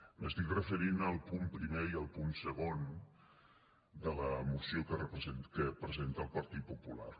m’estic referint al punt primer i al punt segon de la moció que presenta el partit popular